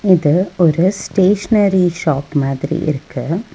இது ஒரு stationery shop மாதிரி இருக்கு.